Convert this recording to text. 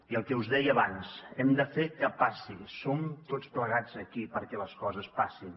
i el que us deia abans hem de fer que passi som tots plegats aquí perquè les coses passin